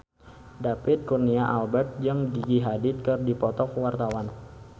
David Kurnia Albert jeung Gigi Hadid keur dipoto ku wartawan